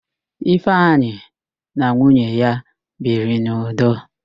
Ifeanyi na nwunye ya biri n'udo.